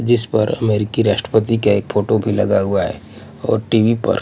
जिस पर अमेरिकी राष्ट्रपति का एक फोटो भी लगा हुआ है और टी_वी पर--